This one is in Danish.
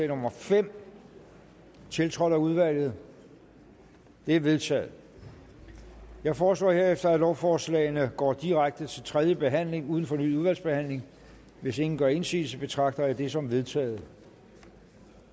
nummer fem tiltrådt af udvalget det er vedtaget jeg foreslår herefter at lovforslagene går direkte til tredje behandling uden fornyet udvalgsbehandling hvis ingen gør indsigelse betragter jeg det som vedtaget